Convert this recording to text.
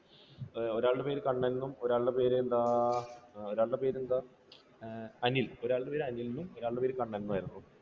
ഒരാളുടെ പേര് കണ്ണൻ എന്നും ഒരാളുടെ പേര് എന്താ, ഒരാളുടെ പേര് എന്താ, അനിൽ. ഒരാളുടെ പേര് അനിൽ എന്നും ഒരാളുടെ പേര് കണ്ണൻ എന്നുമായിരുന്നു.